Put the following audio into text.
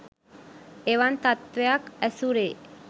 එවන් තත්ත්වයක් ඇසුරේ